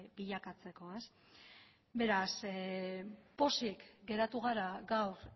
bilakatzeko ez beraz pozik geratu gara gaur